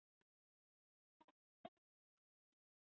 Hefur undirbúningurinn gengið vel?